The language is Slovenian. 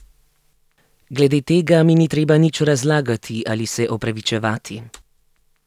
Glede tega mi ni treba nič razlagati ali se opravičevati.